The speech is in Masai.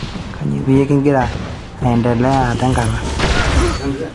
kainyoo peyie kigira aendelea aata enkata